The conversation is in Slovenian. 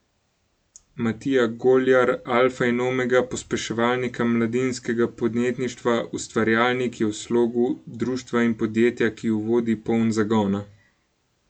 Matija Goljar, alfa in omega pospeševalnika mladinskega podjetništva Ustvarjalnik, je v slogu društva in podjetja, ki ju vodi, poln zagona.